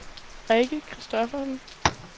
Rikke Kristoffersen